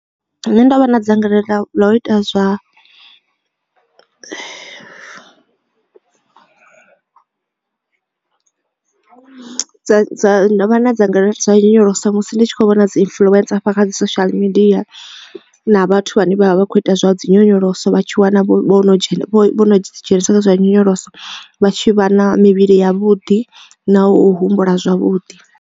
Nda vha na dzangalelo ḽa u ita zwa dza dza ndo vha na dzangalelo ḽa nyonyoloso musi ndi tshi kho vhona dzi influencer hafha kha dzi social media na vhathu vhane vha vha vha kho ita dzi nyonyoloso vha tshi wana vho dzhena vho no ḓi dzhenisa kha zwa nyonyoloso vha tshi vha na mivhili ya vhuḓi na u humbula zwavhuḓi.